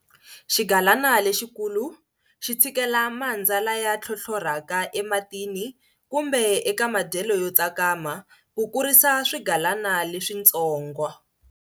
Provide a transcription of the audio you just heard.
Xigalana lexikulu xi tshikela mandza laya tlhotlhoraka ematini kumbe eka madyelo yo tsakama, ku kurisa swigalana leswitsonga.